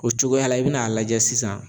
O cogoya la i bin'a lajɛ sisan.